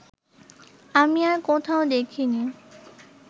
আমি আর কোথাও দেখিনি